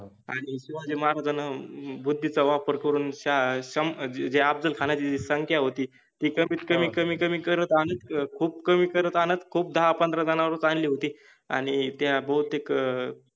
आणि शिवाजि महाराजान बुद्धिचा वापर करुन शहा सम्भा जे अफजलखानाचि जि संख्या होति ति कमित कमि कमि कमि करत आणत खुप कमि करत आणत खुप दहा पंधरा जणावरच आणले होते आणि त्या बहुतेक